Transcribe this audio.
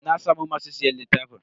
Na samu masu siyan littafin.